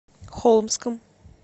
холмском